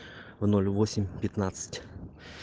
ноль восемь пятнадцать